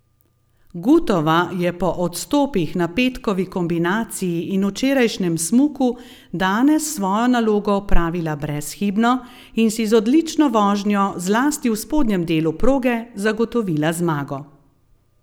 Gutova je po odstopih na petkovi kombinaciji in včerajšnjem smuku danes svojo nalogo opravila brezhibno in si z odlično vožnjo zlasti v spodnjem delu proge zagotovila zmago.